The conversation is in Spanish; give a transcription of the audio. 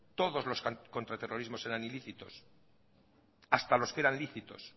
todos los contraterrorismos eran ilícitos hasta los que eran lícitos